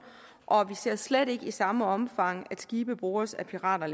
og vi ser slet ikke længere i samme omfang at skibe bordes af pirater